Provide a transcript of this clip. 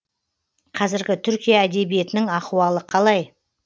қазіргі түркия әдебиетінің ахуалы қалай